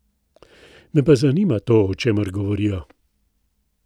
Me pa zanima to, o čemer govorijo.